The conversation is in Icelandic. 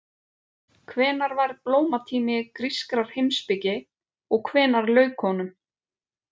Hvenær var blómatími grískrar heimspeki og hvenær lauk honum?